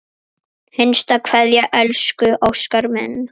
HINSTA KVEÐJA Elsku Óskar minn.